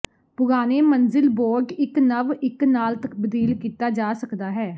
ਪੁਰਾਣੇ ਮੰਜ਼ਿਲ ਬੋਰਡ ਇੱਕ ਨਵ ਇੱਕ ਨਾਲ ਤਬਦੀਲ ਕੀਤਾ ਜਾ ਸਕਦਾ ਹੈ